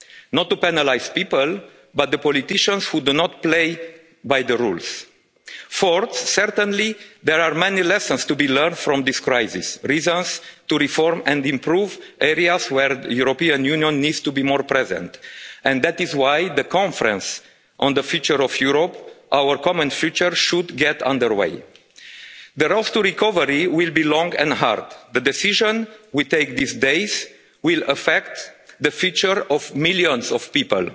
European funds not to penalise people but the politicians who do not play by the rules. Fourth, certainly there are many lessons to be learned from this crisis, reasons to reform and improve areas where the European Union needs to be more present. And that is why the Conference on the Future of Europe our common future, should get underway. The road to recovery will be long and hard. The decision we take these days will affect the future of